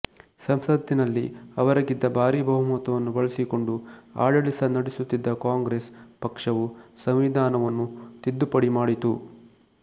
ಸಂಸತ್ತಿನಲ್ಲಿ ಅವರಿಗಿದ್ದ ಭಾರೀ ಬಹುಮತವನ್ನು ಬಳಸಿಕೊಂಡು ಆಡಳಿತ ನಡೆಸುತ್ತಿದ್ದ ಕಾಂಗ್ರೆಸ್ ಪಕ್ಷವು ಸಂವಿಧಾನವನ್ನು ತಿದ್ದುಪಡಿ ಮಾಡಿತು